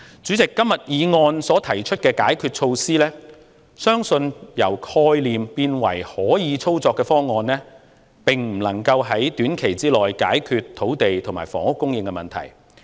主席，今天議案所提出的解決措施，相信將之由概念變為可操作方案需時，並不能夠在短期內解決土地和房屋供應的問題。